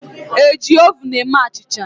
ị na-eji oven eme achịcha?